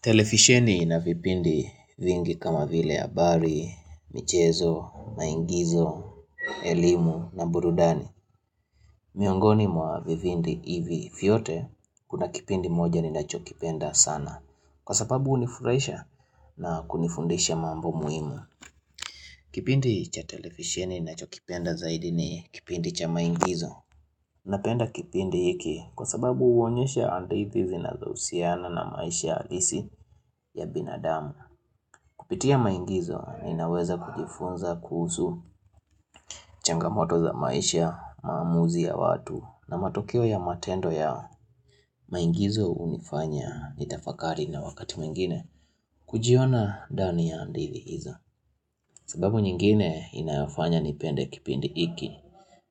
Televisheni na vipindi vingi kama vile habari, michezo, maigizo, elimu na burudani. Miongoni mwa vipindi hivi vyote kuna kipindi moja ninachokipenda sana. Kwa sababu hunifurahisha na kunifundisha mambo muimu. Kipindi cha televisheni ninachokipenda zaidi ni kipindi cha maigizo. Unapenda kipindi hiki kwa sababu uonyesha andithi zinazousiana na maisha alisi ya binadamu. Kupitia maingizo inaweza kujifunza kuzu changamoto za maisha mamuzi ya watu na matokeo ya matendo ya maingizo unifanya nitafakari na wakati mengine kujiona dani ya andithi hizo. Sababu nyingine inafanya nipende kipindi iki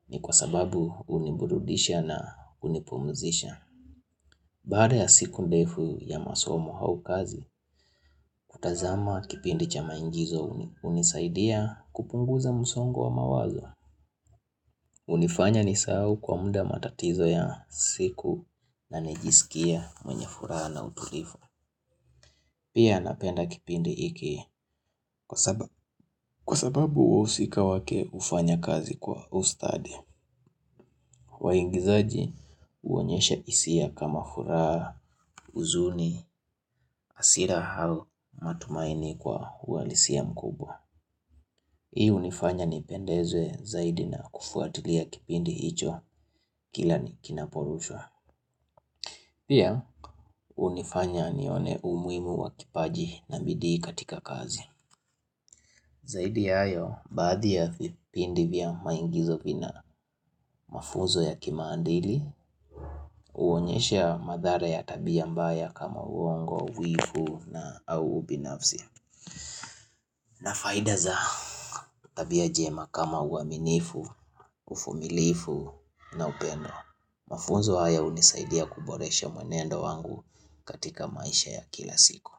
ni kwa sababu uniburudisha na unipumuzisha. Baada ya siku ndefu ya masomo hau kazi, kutazama kipindi cha maingizo unisaidia kupunguza musongo wa mawazo. Unifanya nisao kwa munda matatizo ya siku na nijisikia mwenye furaha na utulifu. Pia napenda kipindi iki kwa sababu wausika wake ufanya kazi kwa ustadi. Waingizaji uonyesha isia kama furaa, uzuni, asira hau matumaini kwa uwalisia mkubwa Hii unifanya ni pendeze zaidi na kufuatilia kipindi hicho kila ni kinaporushwa Pia unifanya ni one umuimu wa kipaji na midi katika kazi Zaidi hayo, baadhi ya vipindi vya maingizo vina mafuzo ya kimandili Uonyesha madhara ya tabia mbaya kama uongo, uifu na auubinafzi Na faida za tabia jema kama uaminifu, ufumilifu na upendo Mafunzo haya unisaidia kuboresha mwenendo wangu katika maisha ya kila siku.